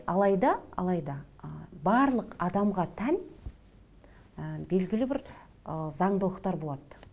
алайда алайда ы барлық адамға тән ы белгілі бір ы заңдылықтар болады